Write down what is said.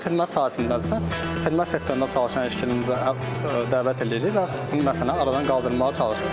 Əgər xidmət sahəsindədirsə, xidmət sektorunda çalışan işçini dəvət eləyirik və məsələni aradan qaldırmağa çalışırıq.